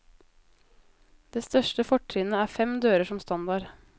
Det største fortrinnet er fem dører som standard.